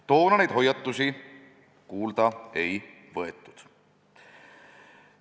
Toona neid hoiatusi kuulda ei võetud.